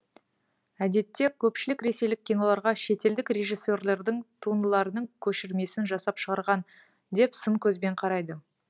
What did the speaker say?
әдетте көпшілік ресейлік киноларға шетелдік режиссерлердің туындыларының көшірмесін жасап шығарған деп сын көзбен қарайды